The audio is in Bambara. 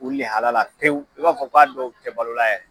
O lɛhala la pewu, i b'a fɔ k'a dɔw tɛ balo la yɛ